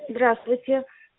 здравствуйте